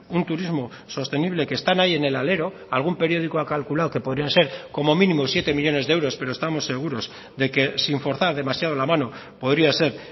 un turismo sostenible que están ahí en el alero algún periódico ha calculado que podrían ser como mínimo siete millónes de euros pero estamos seguros de que sin forzar demasiado la mano podría ser